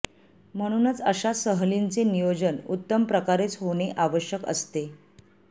म्हणूनच अशा सहलीचे नियोजन उत्तम प्रकारेच होणे आवश्यक असते